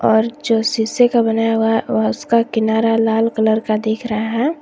और जो शीशे का बनाया हुआ उसका किनारा लाल कलर का दिख रहा है।